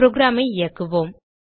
programஐ இயக்குவோம்